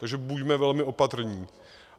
Takže buďme velmi opatrní.